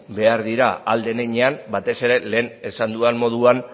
behar dira ahal den heinean batez ere lehen esan dudan moduan